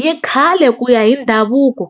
Hi khale ku ya hi ndhavuko